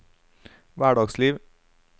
hverdagsliv